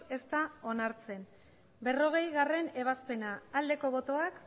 ez da onartzen berrogeigarrena ebazpena aldeko botoak